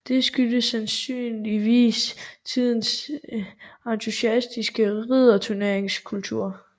Det skyldtes sandsynligvis tidens entusiastiske ridderturneringskultur